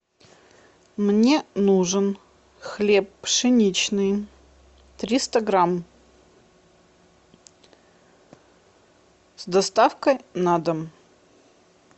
мне нужен хлеб пшеничный триста грамм с доставкой на дом